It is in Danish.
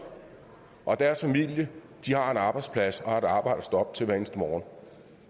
og deres familier har en arbejdsplads og et arbejde at stå op til hver eneste morgen